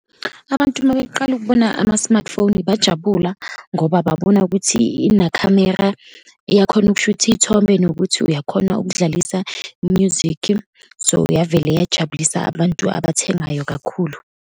Abantu uma beqala ukubona ama-smartphone, bajabula ngoba babona ukuthi inakhamera, iyakhona ukushutha iy'thombe, nokuthi uyakhona ukudlalisa u-music. So, yavela yajabulisa abantu abathengayo kakhulu.